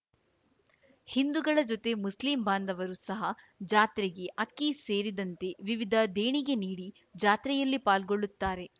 ಹಿಂದುಗಳ ಜೊತೆ ಮುಸ್ಲಿಂ ಬಾಂಧವರು ಸಹ ಜಾತ್ರೆಗೆ ಅಕ್ಕಿ ಸೇರಿದಂತೆ ವಿವಿಧ ದೇಣಿಗೆ ನೀಡಿ ಜಾತ್ರೆಯಲ್ಲಿ ಪಾಲ್ಗೊಳ್ಳುತ್ತಾರೆ